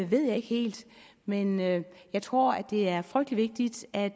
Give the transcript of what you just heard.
ved jeg ikke helt men men jeg tror det er frygtelig vigtigt at